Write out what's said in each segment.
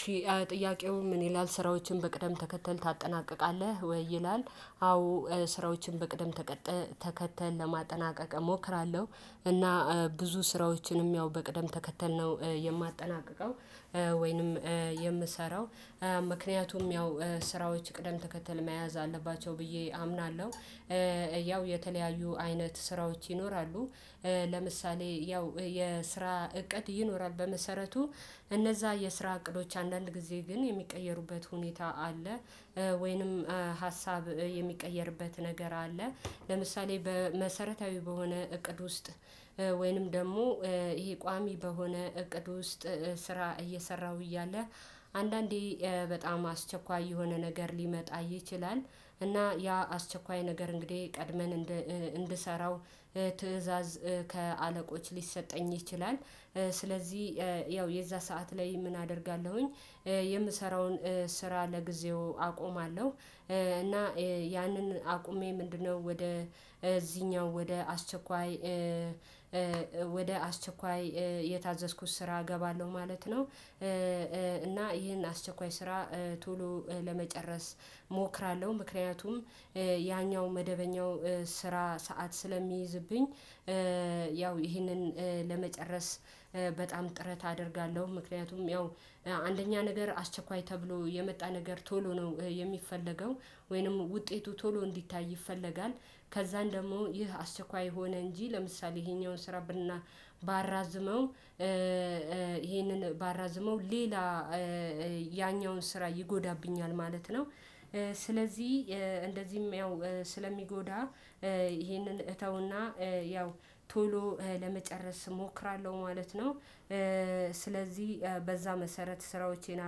ሺህ ጥያቄው ምን ይላል ስራዎችን በቅደም ተከተል ታጠናቅቃለህ ወይ? ይላል አዎ ስራዎችን በቅደም ተከተል ለማጠናቀቅ እሞክራለሁ እና ብዙ ስራዎችንም ያው በቅደም ተከተል ነው የማጠናቅቀው ወይንም የምሰራው ምክንያቱም ያው ስራዎች ቅደም ተከተል መያዝ አለባቸው ብዬ አምናለሁ። ያው የተለያዩ አይነት ስራዎች ይኖራሉ። ለምሳሌ ያው የስራ እቅድ ይኖራል በመሰረቱ እነዛ የስራ እቅዶች አንዳንድ ጊዜ ግን የሚቀየሩበት ሁኔታ አለ። ወይንም ሀሳብ የሚቀየርበት ነገር አለ። ለምሳሌ በመሰረታዊ በሆነ እቅድ ውስጥ ወይንም ደግሞ ይሄ ቋሚ በሆነ እቅድ ውስጥ ስራ እየሰራሁ እያለ አንዳንዴ በጣም አስቸኳይ የሆነ ነገር ሊመጣ ይችላል። እና ያ አስቸኳይ ነገር እንግዲህ ቀድመን እንድሰራው ትእዛዝ ከአለቆች ሊሰጠኝ ይችላል። ስለዚህ ያው የዛ ሰዓት ላይ ምን አደርጋለሁኝ? የምሰራውን ስራ ለጊዜው አቆማለሁ። እና ያንን አቁሜ ምንድነው ወደ እዚህኛው ወደ አስቸኳይ ወደ አስቸኳይ የታዘዝኩት ስራ እገባለሁ ማለት ነው። እና ይሄን አስቸኳይ ስራ ቶሎ ለመጨረስ እሞክራለሁ። ምክንያቱም ያኛው መደበኛው ስራ ሰዓት ስለሚይዝብኝ። ያው ይሄንን ለመጨረስ በጣም ጥረት አደርጋለሁ ምክንያቱም ያው አንደኛ ነገር አስቸኳይ ተብሎ የመጣ ነገር ቶሎ ነው የሚፈለገው። ወይንም ውጤቱ ቶሎ እንዲታይ ይፈለጋል። ከዛን ደግሞ ይህ አስቸኳይ ሆነ እንጂ ለምሳሌ ይሄኛውን ስራ ባራዝመው ይሄንን ባራዝመው ሌላ ያኛውን ስራ ይጎዳብኛል ማለት ነው። ስለዚህ እንደዚህም ያው ስለሚጎዳ ይሄንን እተውና ያው ቶሎ ለመጨረስ እሞክራለሁ ማለት ነው። ስለዚህ በዛ መሰረት ስራዎቼን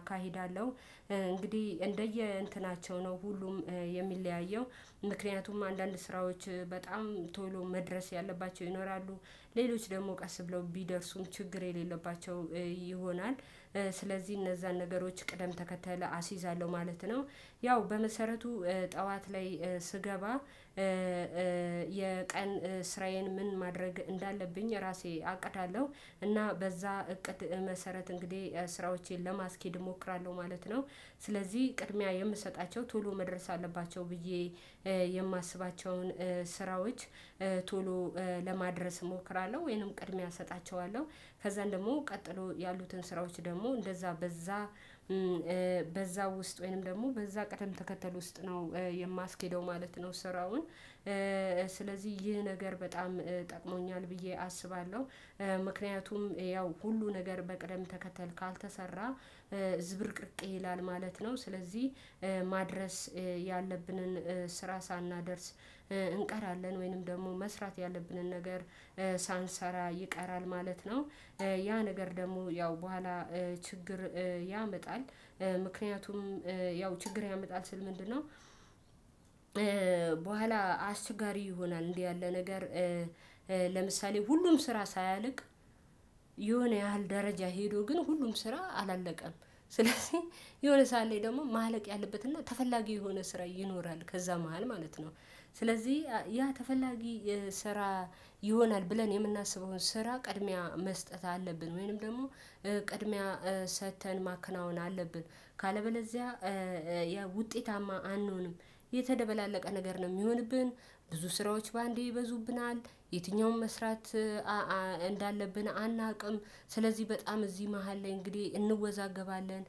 አካሂዳለሁ። እንግዲህ እንደየ እንትናቸው ነው ሁሉም የሚለያየው ምክንያቱም አንዳንድ ስራዎች በጣም ቶሎ መድረስ ያለባቸው ይኖራሉ። ሌሎች ደግሞ ቀስ ብለው ቢደርሱም ችግር የሌለባቸው ይሆናል። ስለዚህ እነዛን ነገሮች ቅደም ተከተለ አስይዛለሁ ማለት ነው። ያው በመሰረቱ ጠዋት ላይ ስገባ የቀን ስራዬን ምን ማድረግ እንዳለብኝ ራሴ አቅዳለሁ እና በዛ እቅድ መሰረት እንግዲህ ስራዎቼን ለማስኬድ እሞክራለሁ ማለት ነው። ስለዚህ ቅድሚያ የምሰጣቸው ቶሎ መድረስ አለባቸው ብዬ የማስባቸውን ስራዎች ቶሎ ለማድረስ እሞክራለሁ። ወይንም ቅድሚያ እሰጣቸዋለሁ ከዛን ደግሞ ቀጥሎ ያሉትን ስራዎች ደግሞ እንደዛ በዛ በዛ ውስጥ ወይንም ደግሞ በዛ ቀደም ተከተል ውስጥ ነው የማስኬደው ማለት ነው። ስራውን ስለዚህ ይህ ነገር በጣም ጠቅሞኛል ብዬ አስባለሁ። ምክንያቱም ያው ሁሉ ነገር በቅደም ተከተል ካልተሰራ ዝብርቅርቅ ይላል ማለት ነው። ስለዚህ ማድረስ ያለብንን ስራ ሳናደርስ እንቀራለን። ወይንም ደግሞ መስራት ያለብንን ነገር ሳንሰራ ይቀራል ማለት ነው። ያ ነገር ደግሞ ያው በኋላ ችግር ያመጣል። ምክንያቱም ያው ችግር ያመጣል ስል ምንድነው? በኋላ አስችጋሪ ይሆናል እንዲህ ያለ ነገር። ለምሳሌ ሁሉም ስራ ሳያልቅ የሆነ ያህል ደረጃ ሄዶ ግን ሁሉም ስራ አላለቀም። ስለዚህ የሆነ ሰዓት ላይ ደግሞ ማለቅ ያለበት እና ተፈላጊ የሆነ ስራ ይኖራል ከዛ መሃል ማለት ነው። ስለዚህ ያ ተፈላጊ ስራ ይሆናል ብለን የምናስበውን ስራ ቅድሚያ መስጠት አለብን ወይንም ደግሞ ቅድሚያ ሰጥተን ማከናወን አለብን። ካለበለዚያ ውጤታማ አንሆንም የተደበላለቀ ነገር ነው የሚሆንብን። ብዙ ስራዎች በአንዴ ይበዙብናል የትኛውን መስራት እንዳለብን አናውቅም። ስለዚህ በጣም እዚህ መሃል ላይ እንግዲህ እንወዛገባለን።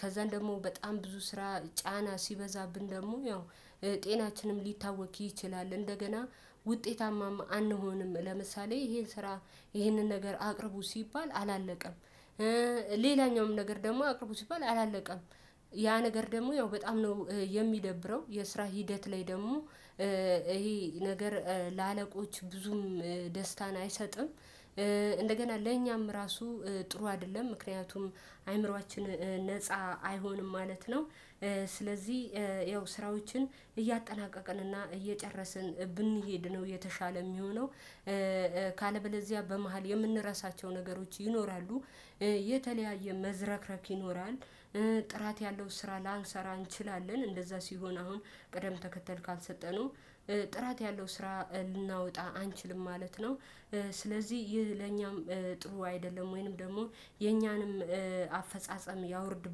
ከዛን ደግሞ በጣም ብዙ ስራ ጫና ሲበዛብን ደግሞ ያው ጤናችንም ሊታወክ ይችላል። እንደገና ውጤታማም አንሆንም። ለምሳሌ ይሄ ስራ ይሄንን ነገር አቅርቡ ሲባል አላለቀም። ሌላኛውም ነገር ደግሞ አቅርቦ ሲባል አላለቀም። ያ ነገር ደግሞ ያው በጣም ነው የሚደብረው የስራ ሂደት ላይ ደግሞ ይሄ ነገር ለአለቆች ብዙም ደስታን አይሰጥም። እንደገና ለእኛም ራሱ ጥሩ አይደለም ምክንያቱም አእምሮአችን ነፃ አይሆንም ማለት ነው። ስለዚህ ያው ስራዎችን እያጠናቀቀን እና እየጨረስን ብንሄድ ነው የተሻለ የሚሆነው። ካለበለዚያ በመሃል የምንረሳቸው ነገሮች ይኖራሉ። የተለያየ መዝረክረክ ይኖራል። ጥራት ያለው ስራ ላንሰራ እንችላለን እንደዛ ሲሆን አሁን ቅደም ተከተል ካልሰጠነው ጥራት ያለው ስራ ልናወጣ አንችልም ማለት ነው። ስለዚህ ይህ ለእኛም ጥሩ አይደለም። ወይንም ደግሞ የእኛንም አፈጻጸም ያወርድ